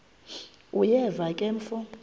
uyeva ke mfo